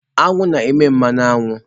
Aṅụ na-eme mmanụ aṅụ.